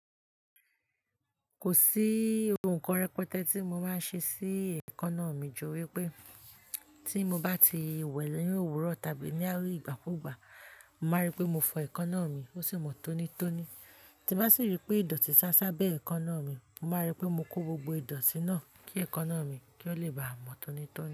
Kò sí ohun kan rẹpẹtẹ tí mo máa ṣe sí ẹekannà mi jù wí pé tí mo bá ti wẹ̀ lẹ́yìn òwúrọ̀ tàbí ní ìgbàkúùgbà, mo màá rí pé mo fọ ẹekannà mi ó sì mọ́ tónítóní. Tí n bá sì rí pé ìdọ̀tí sá sábé ẹekanna mi, mo màá rí pé mo kó gbogbo ìdọ̀tí náà kí ẹekanna mi kí ó lè ba à mọ́ tónítóní.